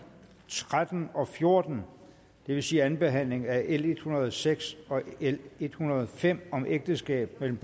tretten og fjorten det vil sige anden behandling af l en hundrede og seks og l en hundrede og fem om ægteskab mellem